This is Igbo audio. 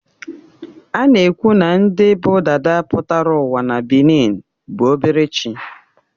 A na-ekwu na ndị bụ dada pụta ụwa na benin bụ obere chi